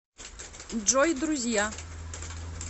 джой друзья